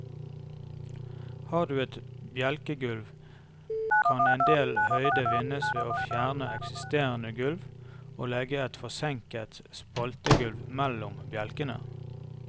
Har du et bjelkegulv, kan endel høyde vinnes ved å fjerne eksisterende gulv og legge et forsenket spaltegulv mellom bjelkene.